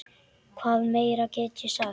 Hvað meira get ég sagt?